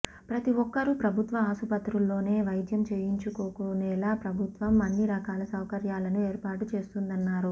ప్రతి ఒక్కరూ ప్రభుత్వ ఆసుపత్రుల్లోనే వైద్యం చేయించుకుకునేలా ప్రభుత్వం అన్ని రకాల సౌకర్యాలను ఏర్పాటు చేస్తోందన్నారు